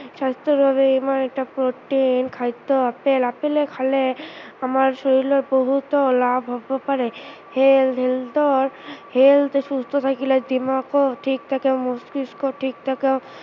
স্ৱাস্থ্য়ৰ বাবে ইমান এটা প্ৰটিন খাদ্য় আছে, আপেল খালে আমাৰ শৰীৰত বহুতো লাভ হব পাৰে, health, health ৰ health সুস্থ থাকিলে দিমাগো ঠিক থাকে, মস্তিষ্ক ঠিক থাকে